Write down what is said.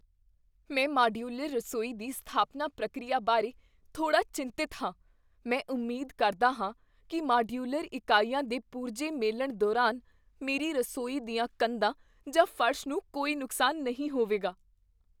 ਮੈਂ ਮਾਡਯੂਲਰ ਰਸੋਈ ਦੀ ਸਥਾਪਨਾ ਪ੍ਰਕਿਰਿਆ ਬਾਰੇ ਥੋੜ੍ਹਾ ਚਿੰਤਤ ਹਾਂ। ਮੈਂ ਉਮੀਦ ਕਰਦਾ ਹਾਂ ਕੀ ਮਾਡਯੂਲਰ ਇਕਾਈਆਂ ਦੇ ਪੁਰਜੇ ਮੇਲਣ ਦੌਰਾਨ ਮੇਰੀ ਰਸੋਈ ਦੀਆਂ ਕੰਧਾਂ ਜਾਂ ਫਰਸ਼ ਨੂੰ ਕੋਈ ਨੁਕਸਾਨ ਨਹੀਂ ਹੋਵੇਗਾ।